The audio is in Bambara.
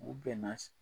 U bɛnna